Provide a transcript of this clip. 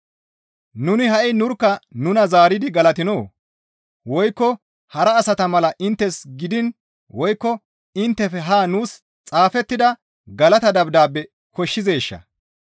Nuni ha7i nurkka nuna zaaridi galatinoo? Woykko hara asata mala inttes gidiin woykko inttefe haa nuus xaafettida galata dabdaabe koshshizeeshaa?